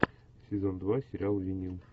сезон два сериал винил